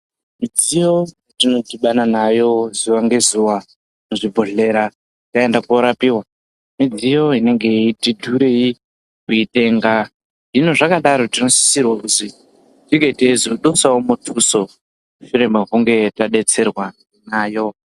Midziyo yetinodhibana nayo zuwa ngezuwa muzvibhodhlera taenda koorapiwa midziyo inenge yeiti dhurei kutenga. Hino zvakadaro ,tinosisirwe kuzi tinge teizodusawo muthuso mushure mekunge tadetserwa nayo.